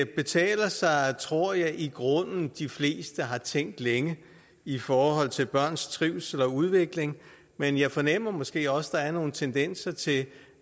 betaler sig tror jeg i grunden de fleste har tænkt længe i forhold til børns trivsel og udvikling men jeg fornemmer måske også at der er nogle tendenser til